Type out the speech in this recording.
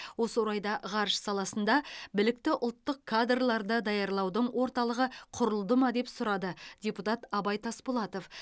осы орайда ғарыш саласында білікті ұлттық кадрларды даярлаудың орталығы құрылды ма деп сұрады депутат абай тасболатов